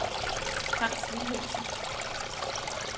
Franz Wilhelmsen